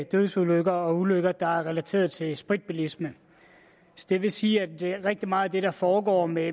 dødsulykker og ulykker der er relateret til spritbilisme det vil sige at rigtig meget af det der foregår med